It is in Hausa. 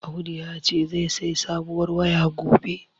Audu yace zai sayi sabuwar waya gobe.